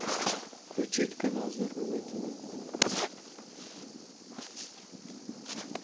включить канал здоровое тв